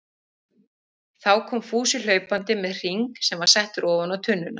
Þá kom Fúsi hlaupandi með hring sem var settur ofan á tunnuna.